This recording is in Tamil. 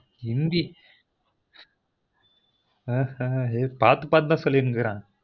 இந்தி ஹெஹ்ஹ இத பார்த்து பார்த்துத சொல்லிங்கிறென்